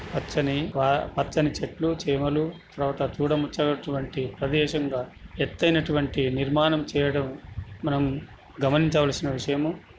పచ్చని పచ్చని చెట్లు చీమలు తరవాత చూడ ముచ్చని అటువంటి ప్రదేశం గ ఎత్తు అయిన అటువంటి నిర్మాణం చేయడం మనం గమనిచ్చావాల్సిన విషయం.